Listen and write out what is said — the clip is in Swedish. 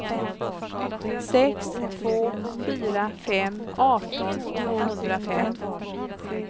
sex två fyra fem arton tvåhundrafem